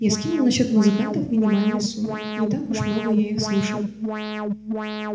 я скинул на счёт музыкантов минимальную сумму не так уж много я их слушал